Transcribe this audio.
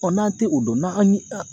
Ɔ n'an te o dɔn n'an ye an